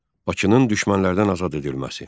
Bakının düşmənlərdən azad edilməsi.